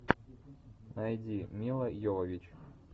найди мила йовович